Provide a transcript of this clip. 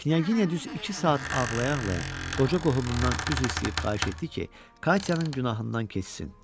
Knyaginya düz iki saat ağlaya-ağlaya qoca qohumundan üzr istəyib xahiş etdi ki, Katya'nın günahından keçsin.